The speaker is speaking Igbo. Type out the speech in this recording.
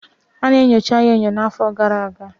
Ana enyocha ya enyo n'afọ gara aga